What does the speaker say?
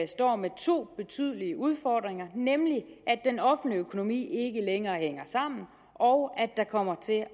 står med to betydelige udfordringer nemlig at den offentlige økonomi ikke længere hænger sammen og at der kommer til